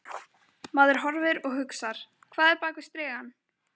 Maður horfir og hugsar: Hvað er bak við strigann?